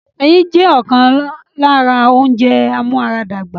Ẹyin jẹ́ ọ̀kan lára àwọn ounjẹ amúaradàgbà